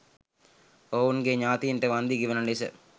ඔවුන්ගේ ඥාතීන්ට වන්දි ගෙවන ලෙස